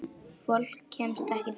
Fólk kemst ekki til okkar.